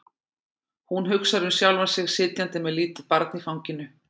Hún hugsar um sjálfa sig sitjandi með lítið barn í fanginu.